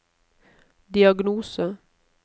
diagnose